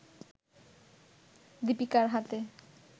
দিপিকার হাতে